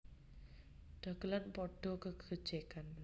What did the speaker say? Dagelan padha gegojegan